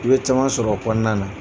I bɛ caman sɔrɔ o kɔnɔna na